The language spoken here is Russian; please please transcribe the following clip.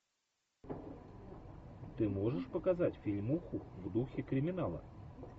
ты можешь показать фильмуху в духе криминала